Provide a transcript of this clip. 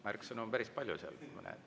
Märksõnu on päris palju seal, ma näen.